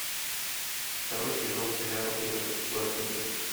второй сезон сериала белый воротничок